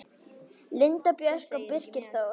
Linda Björg og Birgir Þór.